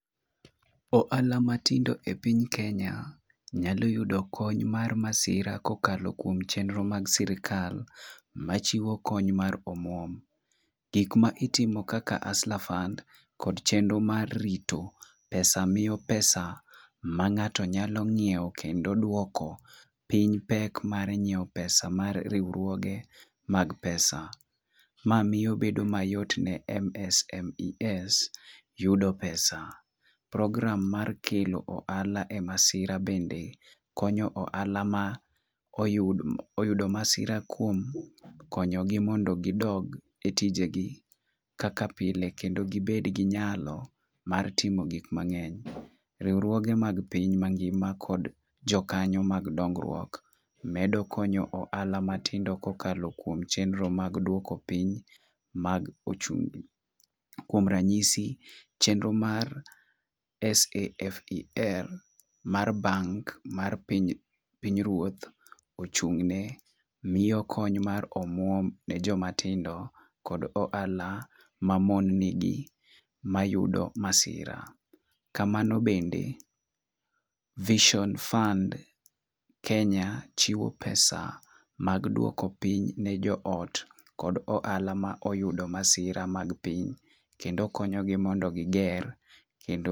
Ohala matindo e piny kenya nyalo yudo kony mar masira kokalo kuom chenro mag sirikal machiwo kony mar omwom. Gik ma itimo kaka huster fund kod chenro mar rito pesa miyo pesa ma ng'ato nyalo nyiewo kendo duoko, piny pek mar nyiewo pesa mar riwruoge mag pesa. Ma miyo bedo mayot ne MSMES yudo pesa program mar kelo ohala e masira bende konyo ohala ma oyud oyudo masira kuom konyogi mondo gidog e tijegi kaka pile kendo gibed gi nyalo mar timo gik mangeny. Riwruoge mag piny mangima kod jokanyo mag dongruok medo konyo ohala matindo kokalo kuom chenro mag duoko piny mag ochumi. Kuom ranyisi, chenro mar SAFER mar bank mar piny mar piny ruoth ochung' ne, miyo kony mar omwom ne joma tindo kod ohala mamon nigi ma yudo masira. Kamano bende vision fund kenya chowo pesa mag duoko piny ne joot kod ohala ma oyudo masira mag pii kendo konyuogi mondo giger kendo